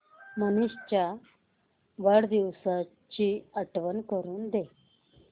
मनीष च्या वाढदिवसाची आठवण करून दे